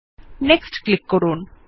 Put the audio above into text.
next click করুন